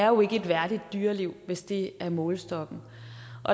jo ikke et værdigt dyreliv hvis det er målestokken